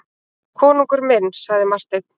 Konungur minn, sagði Marteinn.